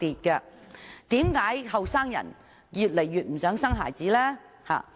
為甚麼年青人越來越不想生孩子呢？